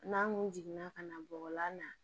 N'an kun jiginna ka na bɔgɔlan na